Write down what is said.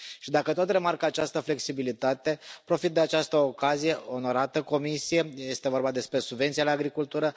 Și dacă tot remarc această flexibilitate, profit de această ocazie, onorată comisie, este vorba despre subvenția la agricultură.